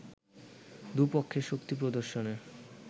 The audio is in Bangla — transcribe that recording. দু’পক্ষের শক্তি প্রদর্শনের